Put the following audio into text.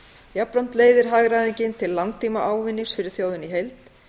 jafnframt leiðir hagræðingin til langtíma ávinnings fyrir þjóðina í heild